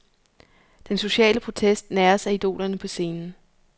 Den sociale protest næres af idolerne på scenen.